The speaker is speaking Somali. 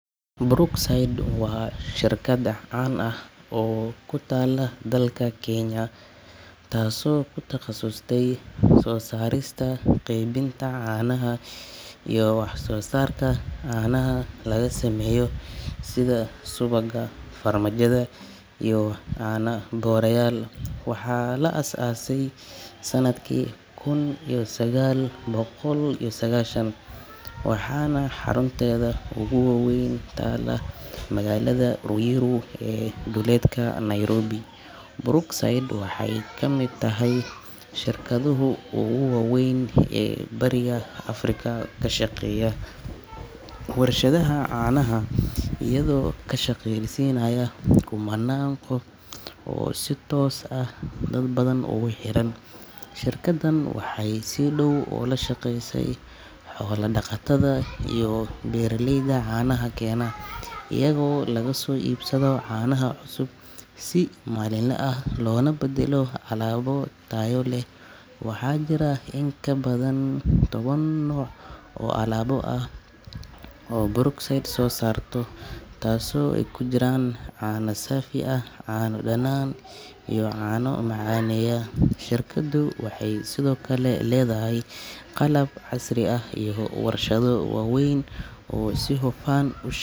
Brookside waa shirkad caan ah oo ku taalla dalka Kenya, taasoo ku takhasustay soo saarista iyo qeybinta caanaha iyo wax soo saarka caanaha laga sameeyo sida subagga, farmaajada iyo caano booreyaal. Waxaa la aasaasay sanadkii kun iyo sagaal boqol iyo sagaashan, waxaana xarunteeda ugu weyn ku taallaa magaalada Ruiru ee duleedka Nairobi. Brookside waxay ka mid tahay shirkadaha ugu waa weyn Bariga Afrika ee ka shaqeeya warshadaha caanaha, iyadoo ka shaqaaleysiisa kumannaan qof oo si toos ah ama si dadban ugu xiran. Shirkaddan waxay si dhow ula shaqeysaa xoola-dhaqatada iyo beeraleyda caanaha keena, iyagoo laga soo iibsado caanaha cusub si maalinle ah, loona badalo alaabo tayo sare leh. Waxaa jira in ka badan toban nooc oo alaabo ah oo Brookside soo saarto, taasoo ay ku jiraan caano saafi ah, caano dhanaan, iyo caano macaaneeya. Shirkaddu waxay sidoo kale leedahay qalab casri ah iyo warshado waaweyn oo si hufa.